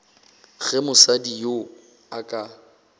ge mosadi yoo a ka